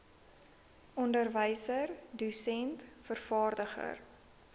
onderwyser dosent vervaardiger